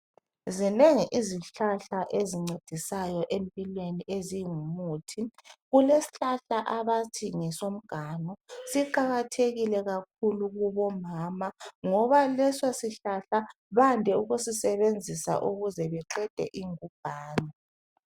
Zinengi izihlahla ezincedisayo empilweni ezingumuthi. Kulesihlahla abathi ngesomganu. Siqakathekile kakhulu kubomama ngoba leso sihlahla bande ukusisebenzisa ukuze baqede ingubhane.